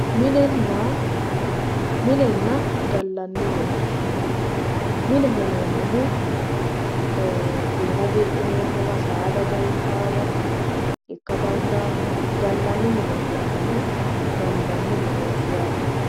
Minenna, minenna gallanni mine mineho yineemmohu giira giidhineemmowa saada galtannowa ikka dandaano gallanni mineti yinnannihu gallanni mineti yaate.